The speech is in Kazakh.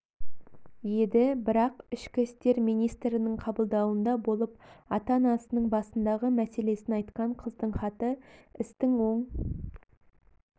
еді бірақ ішкі істер министрінің қабылдауында болып ата-анасының басындағы мәселесін айтқан қыздың хаты істің оң